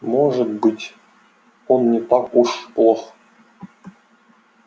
может быть он не так уж плох